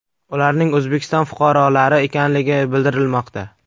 Ularning O‘zbekiston fuqarolari ekanligi bildirilmoqda.